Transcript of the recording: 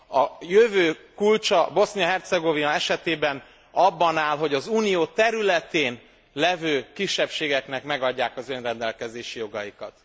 A jövő kulcsa Bosznia Hercegovina esetében abban áll, hogy az Unió területén levő kisebbségeknek megadják az önrendelkezési jogaikat.